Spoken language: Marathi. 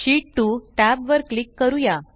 शीत 2 टॅब वर क्लिक करूया